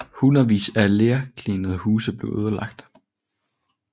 Hundredvis af lerklinede huse blev ødelagt